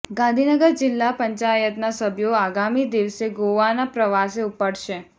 ગાંધીનગર જિલ્લા પંચાયતના સભ્યો આગામી દિવસે ગોવાના પ્રવાસે ઉપડશે